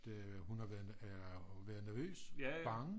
At hun har været er nervøs bange